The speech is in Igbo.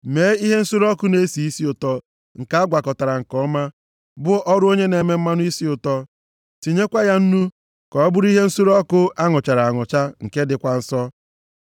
Mee ihe nsure ọkụ na-esi isi ụtọ, nke a gwakọtara nke ọma, bụ ọrụ onye na-eme mmanụ isi ụtọ. Tinyekwa ya nnu, ka ọ bụrụ ihe nsure ọkụ a nụchara anụcha, nke dịkwa nsọ.